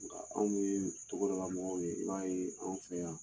Nka anw ye togodala mɔgɔw ye , i b'a ye anw fɛ yan